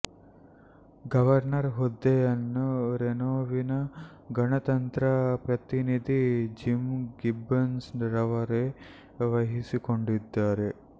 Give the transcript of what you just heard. governor ಹುದ್ದೆಯನ್ನು ರೆನೋವಿನ ಗಣತಂತ್ರ ಪ್ರತಿನಿಧಿ ಜಿಮ್ ಗಿಬ್ಬನ್ಸ್ ರವರೇ ವಹಿಸಿಕೊಂಡಿದ್ದಾರೆ